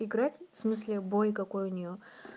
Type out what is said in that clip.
играть в смысле бой какой у неё